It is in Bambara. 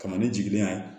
Kama ne jiginnen ye